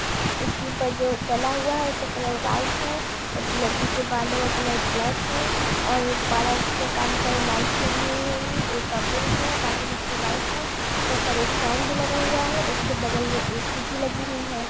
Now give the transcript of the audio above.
इसके ऊपर जो डाला हुआ है उसका कलर व्हाइट है लड़की के बालों का कलर ब्लैक है और पार्लर में कई सारी लाइट्स लगी हुई होगी ऊपर एक फैन भी लगा हुआ है उसके बगल में ऐसी भी लगी हुई है